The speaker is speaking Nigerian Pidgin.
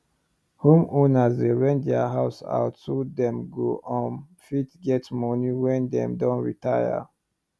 home owner dey rent there house out so them go um fit get money wen them doh retire